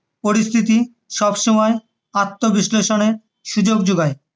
পরিস্থিতি সবসময়ই আত্মবিশ্লেষণের সুযোগ যোগায়